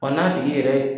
Wa n'a tigi yɛrɛ